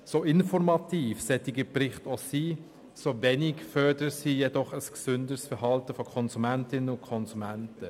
So informativ solche Berichte auch sind, so wenig fördern sie jedoch ein gesünderes Verhalten von Konsumentinnen und Konsumenten.